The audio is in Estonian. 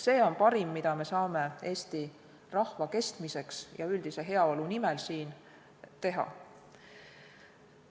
See on parim, mida me saame Eesti rahva kestmiseks ja üldise heaolu nimel siin ära teha.